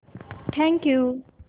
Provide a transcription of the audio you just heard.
thank you